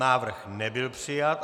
Návrh nebyl přijat.